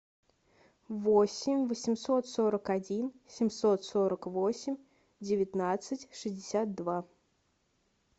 восемь восемьсот сорок один семьсот сорок восемь девятнадцать шестьдесят два